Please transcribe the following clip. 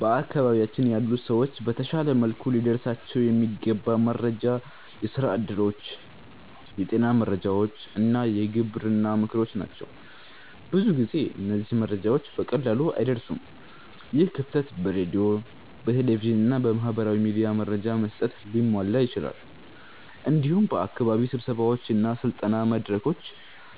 በአካባቢያችን ያሉ ሰዎች በተሻለ መልኩ ሊደርሳቸው የሚገባ መረጃ የስራ እድሎች፣ የጤና መረጃዎች እና የግብርና ምክሮች ናቸው። ብዙ ጊዜ እነዚህ መረጃዎች በቀላሉ አይደርሱም። ይህ ክፍተት በሬዲዮ፣ በቴሌቪዥን እና በማህበራዊ ሚዲያ መረጃ በመስጠት ሊሟላ ይችላል። እንዲሁም በአካባቢ ስብሰባዎች እና በስልጠና መድረኮች